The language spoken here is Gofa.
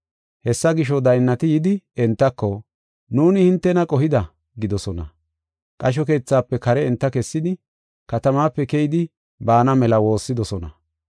Hessa gisho, daynnati yidi entako, “Nuuni hintena qohida” gidoosona. Qasho keethafe kare enta kessidi, katamape keydi baana mela woossidosona.